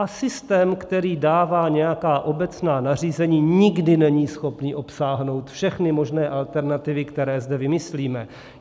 A systém, který dává nějaká obecná nařízení, nikdy není schopný obsáhnout všechny možné alternativy, které zde vymyslíme.